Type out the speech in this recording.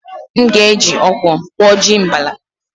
M ga-eji okwọ kwọ ji mbala.